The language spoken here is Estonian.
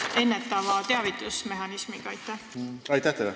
Aitäh teile!